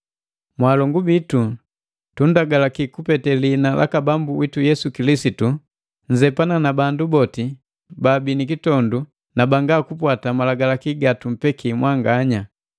Mwaalongu bitu, tunndagalaki kupete lihina laka Bambu witu Yesu Kilisitu, nnzepana na bandu boti baabi nikitondu na banga kupwata malagalaki gatumpeki mwanganya.